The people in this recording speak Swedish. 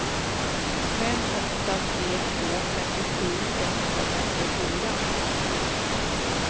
fem åtta tre två femtiosju etthundrafemtiofyra